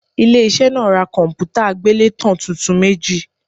Ilé iṣẹ́ náà ra kọ̀m̀pútà àgbélétan tuntun méjì.